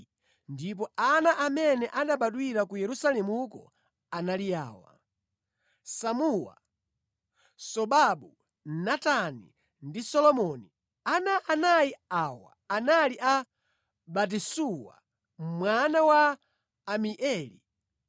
ndipo ana amene anabadwira ku Yerusalemuko anali awa: Samua, Sobabu, Natani ndi Solomoni. Ana anayi awa anali a Batisuwa mwana wa Amieli.